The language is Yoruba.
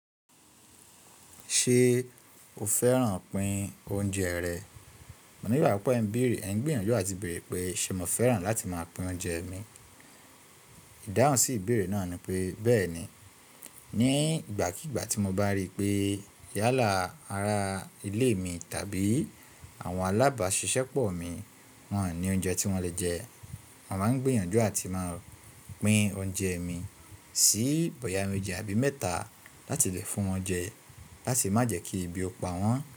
Ṣé o fẹ́ràn pín oúnjẹ rẹ? Mo ní ìgbàgbọ pé ẹ ń bèèrè, ẹ ń gbìyànjú àti bèèrè pé ṣé mo fẹ́ràn láti máa pín oúnjẹ mi. Ìdáhùn sí ìbéèrè náà ni pé bẹ́ẹ̀ni. Ni ìgbàkígbà tí mo bá rí pé yálà ará ilé mi tàbí àwọn alábàásisẹ́pọ̀ mi wọn ò ní oúnjẹ tí wọ́n lè jẹ, màá ń gbìyànjú àti máa pín oúnjẹ mi sí bóyá méjì àbí mẹ́ta láti lè fún wọn jẹ láti má jẹ́ kí ibi ó pa wọ́n.